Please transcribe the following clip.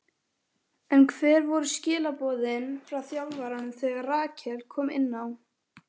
En hver voru skilaboðin frá þjálfaranum þegar Rakel kom inná?